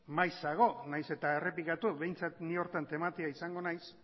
maizago nahiz eta errepikatu behintzat ni horretan tematia izango naiz